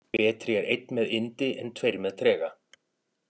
Betri er einn með yndi en tveir með trega.